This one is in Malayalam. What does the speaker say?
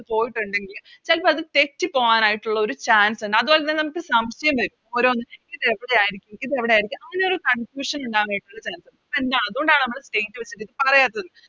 പോയിട്ടുണ്ടെങ്കിൽ ചെലപ്പോ അത് തെറ്റിപോവാനായിട്ടുള്ളൊരു Chance ഇണ്ട് അതുപോലെ തന്നെ നമുക്ക് സംശയം വരും ഓരോന്ന് ഇത് എവിടെയിരിക്കും ഇത് എവിടെയിരിക്കും അങ്ങനെയൊരു Confusion ഇണ്ടാവാൻ വേണ്ടിട്ടുള്ള ഒരു Chance ഇണ്ട് അപ്പൊ എന്താ അതുകൊണ്ടാണ് നമ്മള് വെച്ച് Discover ചെയ്യാത്തത്